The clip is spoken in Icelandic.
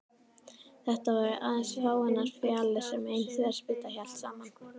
Þetta voru aðeins fáeinar fjalir sem ein þverspýta hélt saman.